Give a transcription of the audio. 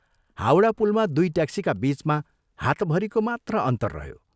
हाउडा पुलमा दुइ ट्याक्सीका बीचमा हातभरिको मात्र अन्तर रह्यो।